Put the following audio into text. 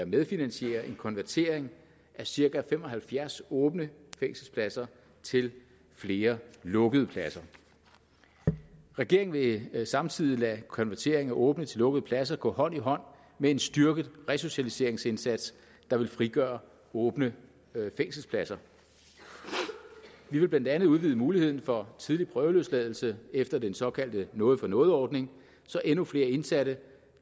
medfinansiere en konvertering af cirka fem og halvfjerds åbne fængselspladser til flere lukkede pladser regeringen vil samtidig lade konverteringen af åbne til lukkede pladser gå hånd i hånd med en styrket resocialiseringsindsats der vil frigøre åbne fængselspladser vi vil blandt andet udvide muligheden for tidligere prøveløsladelse efter den såkaldte noget for noget ordning så endnu flere indsatte